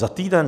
Za týden?